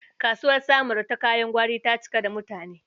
Kasuwar Samaru ta kayan gwari ta cika da mutane.